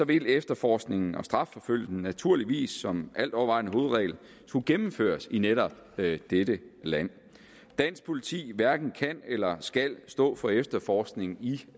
vil efterforskningen og strafforfølgelsen naturligvis som alt overvejende hovedregel skulle gennemføres i netop dette land dansk politi hverken kan eller skal stå for efterforskningen